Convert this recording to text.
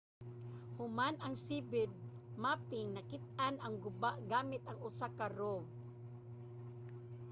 human ang seabed mapping nakit-an ang guba gamit ang usa ka rov